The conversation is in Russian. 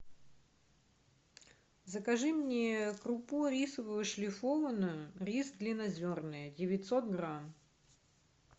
закажи мне крупу рисовую шлифованную рис длиннозерный девятьсот грамм